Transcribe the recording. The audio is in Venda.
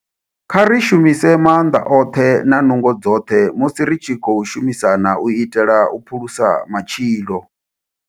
Kha ri shumise maanḓa oṱhe na nungo dzoṱhe musi ri tshi khou shumisana u itela u phulusa matshilo.